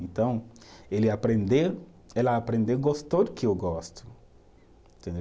Então, ele aprendeu, ela aprendeu, gostou do que eu gosto. Entendeu